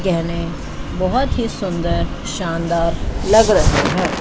गहने बहुत ही सुंदर शानदार लग रहे हैं।